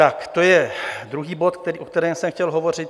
Tak to je druhý bod, o kterém jsem chtěl hovořit.